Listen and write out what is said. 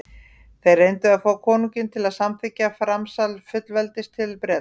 þeir reyndu að fá konunginn til að samþykkja framsal fullveldis til bretlands